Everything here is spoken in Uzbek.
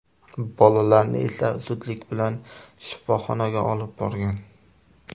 Bolalarni esa zudlik bilan shifoxonaga olib borgan.